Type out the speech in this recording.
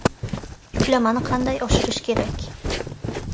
Yuklamani qanday oshirish kerak?